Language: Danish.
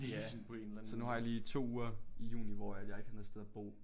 Ja så nu har jeg lige 2 uger i juni hvor at jeg ikke har noget sted at bo